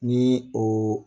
Nii oo